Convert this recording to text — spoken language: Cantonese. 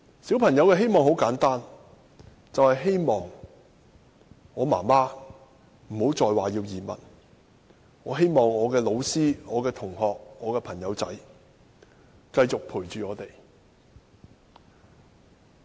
小朋友的希望很簡單，便是希望媽媽不再說要移民，希望老師、同學和朋友繼續陪伴我。